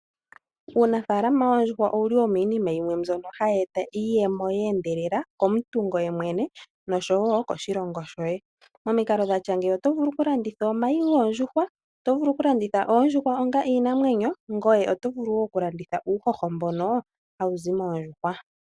Uunafalma woondjuhwa, owuli wo minima mbyono hayi eta iiyemo yeendelela komuntu ngoye mwene, nosho wo koshilongo shoye. Momikalao dhatya ngeyi oto vulu oku landitha omayi goondjuhwa, oto vulu oku landitha oondjuhwa onga iinamwenyo, ngoye oto vulu oku landitha uuhoho mbono ha wuzi moondjuhwa.